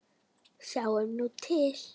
Sjáum nú til?